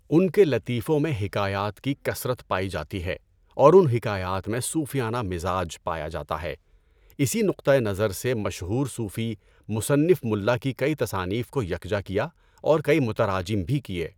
ان کے لطیفوں میں حکایات کی کثرت پائی جاتی ہے اور ان حکایات میں صوفیانہ مزاج پایا جاتا ہے۔ اسی نکتۂ نظر سے مشہور صوفی مصنف ملا کی کئی تصانیف کو یکجا کیا اور کئی مُتَرَاجَم بھی کیے۔